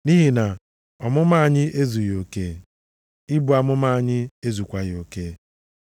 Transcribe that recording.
Nʼihi na ọmụma anyị ezughị oke, ibu amụma anyị ezukwaghị oke.